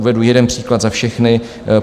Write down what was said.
Uvedu jeden příklad za všechny.